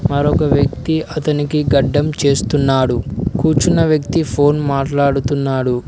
మరొక వ్యక్తి అతనికి గడ్డం చేస్తున్నాడు కూర్చున్న వ్యక్తి ఫోన్ మాట్లాడుతున్నాడు.